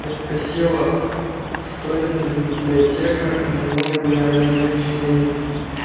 я спросила что это за библиотека и намного ли она меньше ленинской